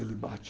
Ele bate.